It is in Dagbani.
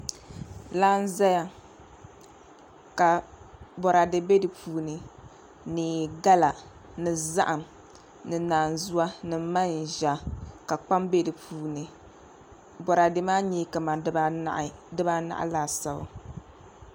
Laa n ʒɛya ka boraadɛ bɛ di puuni ni gala ni zaham ni naanzuwa ni manʒa ka kpam bɛ di puuni boraadɛ maa nyɛla kamani dibaanahi laasabu